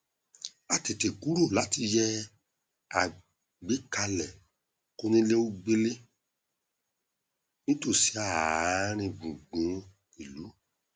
a tètè kúrò láti yẹ àgbékalẹ kónílégbélé nítòsí àárín gbùngbùn ìlú